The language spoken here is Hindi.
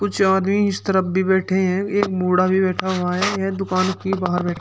चार आदमी इस तरफ भी बैठे हैं एक बूढ़ा भी बैठा हुआ हैं ये दुकान की बाहर बै--